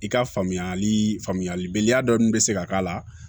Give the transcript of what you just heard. I ka faamuyali faamuyalibaliya dɔɔni bɛ se ka k'a la